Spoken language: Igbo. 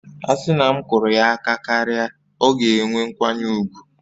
A sị na m kụrụ ya aka karịa, ọ ga-enwe nkwanye ùgwù